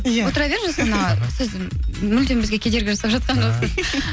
иә отыра беріңіз жасұлан аға сіз мүлдем бізге кедергі жасап жатқан жоқсыз